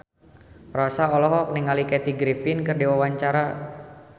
Rossa olohok ningali Kathy Griffin keur diwawancara